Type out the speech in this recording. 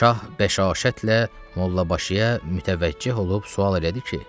Şah bəşaşətlə Mollabaşıya mütəvəccüh olub sual elədi ki: